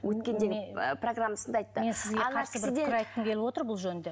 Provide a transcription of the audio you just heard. өткенде ы программасында айтты айтқым келіп отыр бұл жөнінде